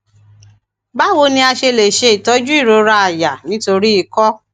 báwo ni a ṣe lè se itojú irora aya nítorí ikọ